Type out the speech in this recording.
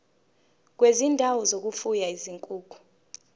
kwezindawo zokufuya izinkukhu